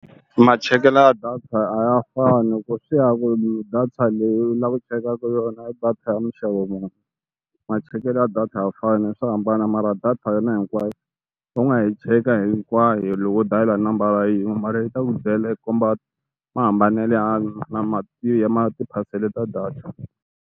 Ma chekelo ya data a ya fani loko swi ya ku data leyi u lava chekaka yona i data ya muni ma chekelo ya data a ya fani swa hambana mara data hinkwayo va nga hi cheka hinkwayo loko dayila nambara yin'we mara yi ta ku byela yi komba ma hambanelo ya na ya ma tiphasela ta data.